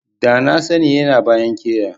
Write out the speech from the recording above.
Da na sani yana a bayan keya.